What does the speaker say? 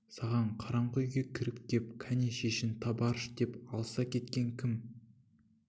саған қараңғы үйге кіріп кеп кәні шешін табарыш деп алыса кеткен кім